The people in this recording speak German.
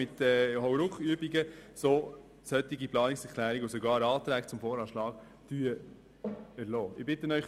Sie haben der Geschäftsplanung entnehmen können, dass ein Bericht des Regierungsrats zum Bestand der Kantonspolizei Bern folgen wird.